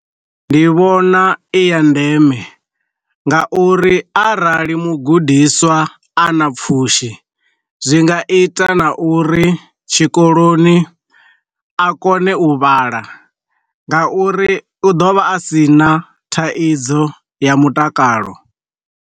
Ndi vhona i ya ndeme, nga uri arali mugudiswa a na pfushi zwi nga ita na uri tshikoloni a kone u vhala nga uri u ḓovha a si na thaidzo ya mutakalo.